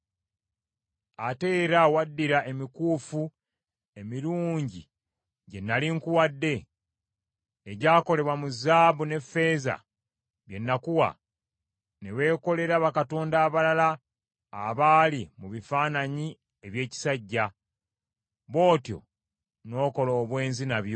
Ate era waddira emikuufu emirungi gye nnali nkuwadde, egyakolebwa mu zaabu n’effeeza bye nakuwa, ne weekolera bakatonda abalala abali mu bifaananyi eby’ekisajja, bw’otyo n’okola eby’obwenzi nabyo,